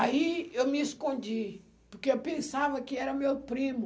Aí eu me escondi, porque eu pensava que era meu primo.